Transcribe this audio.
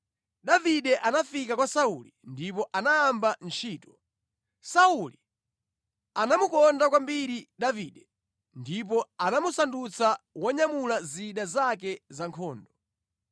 Davide anafika kwa Sauli ndipo anayamba ntchito. Sauli anamukonda kwambiri Davide ndipo anamusandutsa wonyamula zida zake za nkhondo.